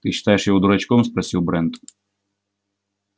ты считаешь его дурачком спросил брент